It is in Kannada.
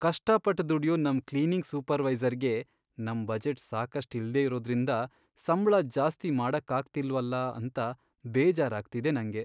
ಕಷ್ಟಪಟ್ಟ್ ದುಡ್ಯೋ ನಮ್ ಕ್ಲೀನಿಂಗ್ ಸೂಪರ್ವೈಸರ್ಗೆ ನಮ್ ಬಜೆಟ್ ಸಾಕಷ್ಟ್ ಇಲ್ದೇ ಇರೋದ್ರಿಂದ ಸಂಬ್ಳ ಜಾಸ್ತಿ ಮಾಡಕ್ಕಾಗ್ತಿಲ್ವಲ ಅಂತ ಬೇಜಾರಾಗ್ತಿದೆ ನಂಗೆ.